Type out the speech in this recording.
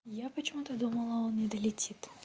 я почему-то думала он не долетит